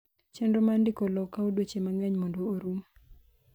chenro mar ndiko lowo kawo dweche mang'eny mondo orum